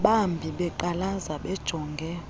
bambi beqalaza bejonge